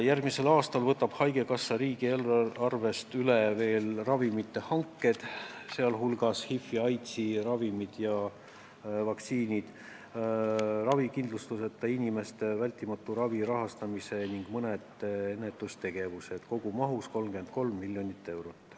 Järgmisel aastal võtab haigekassa riigieelarvest üle ravimite hanked , ravikindlustuseta inimeste vältimatu ravi rahastamise ning mõned ennetustegevused kogumahus 33 miljonit eurot.